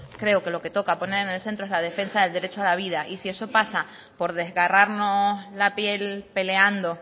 creo que lo que toca poner en el centro es la defensa al derecho a la vida y si eso pasa por desgarrarnos la piel peleando